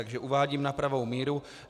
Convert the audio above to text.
Takže uvádím na pravou míru.